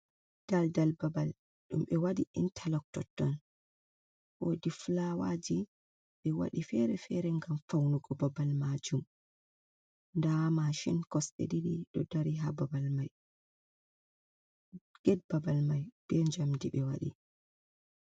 Daldal babal ɗum ɓe waɗi interloc totton, wodi flawaji ɓe wadi fere-fere ngam faunugo babal majum, nda mashin kosɗe ɗiɗi ɗo dari ha babal mai get babal mai be njamdi ɓe waɗi.